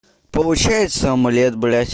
получается омлет блядь